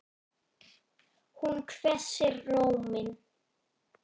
Hún hvessir róminn.